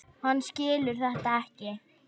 Hann skilur þetta ekki.